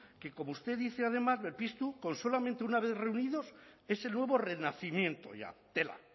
que como usted dice además berpiztu con solamente una vez reunidos es el nuevo renacimiento ya tela